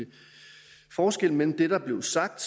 forskel mellem det der blev sagt